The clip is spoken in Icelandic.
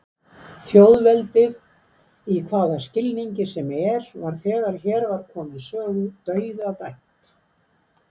Þjóðveldið, í hvaða skilningi sem er, var þegar hér var komið sögu dauðadæmt.